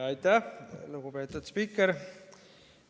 Aitäh, lugupeetud spiiker!